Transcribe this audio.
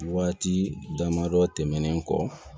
Waati damadɔ tɛmɛnen kɔ